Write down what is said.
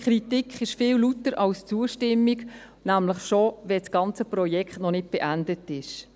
Kritik ist viel lauter als Zustimmung, nämlich schon, wenn das ganze Projekt noch nicht beendet ist.